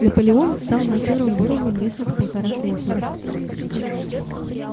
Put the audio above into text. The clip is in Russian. наполеон стал матерым боровом весом в полтора центнера